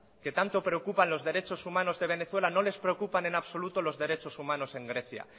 que tanto preocupan los derechos humanos de venezuela no les preocupan en absoluto los derechos humanos en grecia